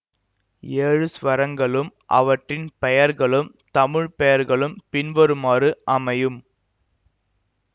ஏழு ஸ்வரங்களும் அவற்றின் பெயர்களும் தமிழ் பெயர்களும் பின்வருமாறு அமையும்